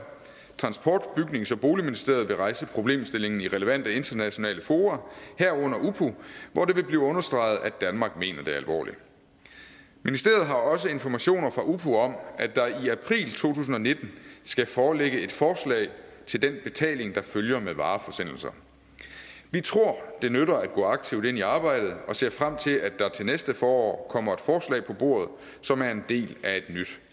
transport bygnings og boligministeriet vil rejse problemstillingen i relevante internationale fora herunder upo hvor det vil blive understreget at danmark mener det alvorligt ministeriet har også informationer fra upo om at der i april to tusind og nitten skal foreligge et forslag til den betaling der følger med vareforsendelser vi tror at det nytter at gå aktivt ind i arbejdet og ser frem til at der til næste forår kommer et forslag på bordet som er en del af et nyt